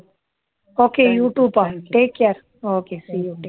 okay you too பா take care okay see you